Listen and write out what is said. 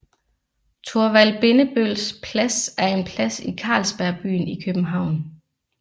Thorvald Bindebølls Plads er en plads i Carlsberg Byen i København